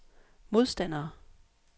modstandere